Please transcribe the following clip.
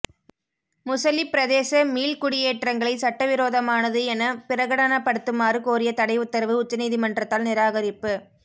முசலிப் பிரதேச மீள்குடியேற்றங்களை சட்டவிரோதமானது என பிரகடனப்படுத்துமாறு கோரிய தடை உத்தரவு உச்ச நீதிமன்றத்தால் நிராகரிப்பு